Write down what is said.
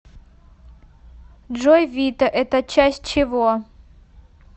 джой вита это часть чего